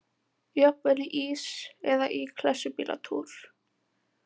Jafnvel í ís eða í klessubílatúr.